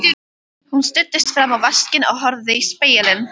Hún studdist fram á vaskinn og horfði í spegilinn.